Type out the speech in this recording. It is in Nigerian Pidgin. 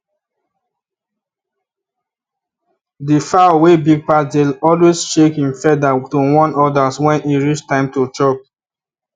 the fowl wey big pass dey always shake him feathers to warn others when e reach time to chop